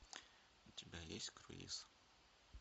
у тебя есть круиз